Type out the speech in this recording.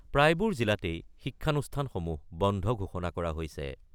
প্ৰায়বোৰ জিলাতেই শিক্ষানুষ্ঠানসমূহ বন্ধ ঘোষণা কৰা হৈছে।